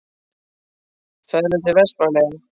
Ferðu til Vestmannaeyja?